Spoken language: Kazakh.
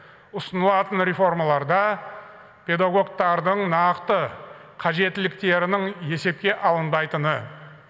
ұсынылатын реформаларда педагогтардың нақты қажеттіліктерінің есепке алынбайтыны